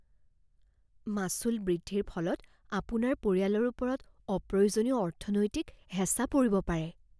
মাচুল বৃদ্ধিৰ ফলত আপোনাৰ পৰিয়ালৰ ওপৰত অপ্ৰয়োজনীয় অৰ্থনৈতিক হেঁচা পৰিব পাৰে।